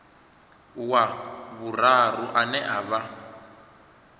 wa vhuraru ane a vha